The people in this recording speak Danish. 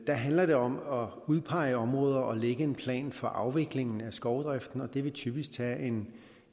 der handler det om at udpege områder og lægge en plan for afviklingen af skovdriften og det vil typisk tage en